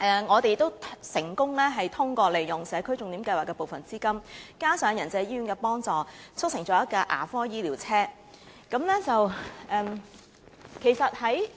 我們亦成功通過利用社區重點項目的部分資金，加上仁濟醫院的幫助，促成推出一輛"牙科醫療車"。